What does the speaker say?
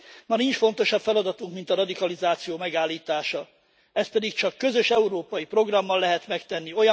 Ma nincs fontosabb feladatunk, mint a radikalizáció megállítása. Ezt pedig csak közös európai programmal lehet megtenni.